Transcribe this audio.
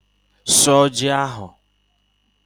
Suọ ji ahụ!